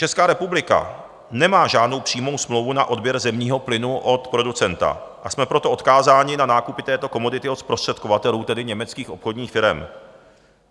Česká republika nemá žádnou přímou smlouvu na odběr zemního plynu od producenta, a jsme proto odkázáni na nákupy této komodity od zprostředkovatelů, tedy německých obchodních firem.